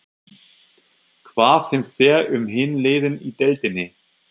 Hvað finnst þér um hin liðin í deildinni?